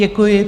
Děkuji.